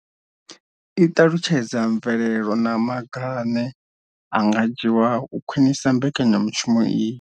I ṱalutshedza mvelelo na maga ane a nga dzhiwa u khwinisa mbekanyamushumo iyi.